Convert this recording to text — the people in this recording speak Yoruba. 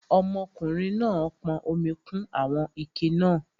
Ọmọkùnrin náà pọn omi kún àwọn ike náà